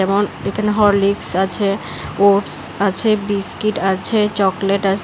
On একানে Horlicks আছে oats আছে বিস্কিট আছে চকলেট আসে।